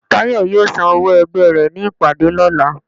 Tayo yóò sán òwó ẹgbẹ re ní ìpàdé lolà